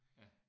Ja